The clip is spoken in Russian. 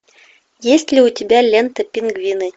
есть ли у тебя лента пингвины